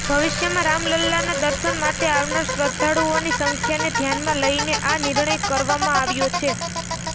ભવિષ્યમાં રામલલ્લાના દર્શન માટે આવનાર શ્રદ્ધાળુઓની સંખ્યાને ધ્યાનમાં લઇન આ નિર્ણય કરવામાં આવ્યો છે